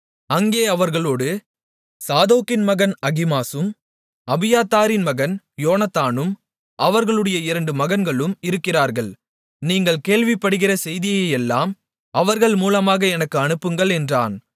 அங்கே அவர்களோடு சாதோக்கின் மகன் அகிமாசும் அபியத்தாரின் மகன் யோனத்தானும் அவர்களுடைய இரண்டு மகன்களும் இருக்கிறார்கள் நீங்கள் கேள்விப்படுகிற செய்தியையெல்லாம் அவர்கள் மூலமாக எனக்கு அனுப்புங்கள் என்றான்